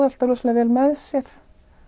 alltaf rosalega vel með sér